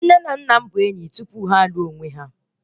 Nne na nna m bụ enyi tupu ha a lụọ onwe ha